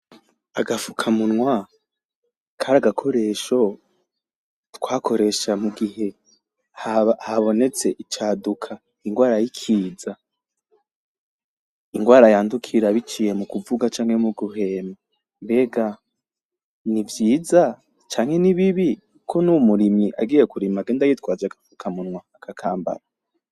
Agafuka kari agakoresho twakoresha mugihe habonetse icaduka, inrwara yikiza, inrwara yandukira biciye mukuvuga canke guhema, nivyiza canke nibibi ko nuwu murimyi agenda yitwaje agafukamunwa akakambara?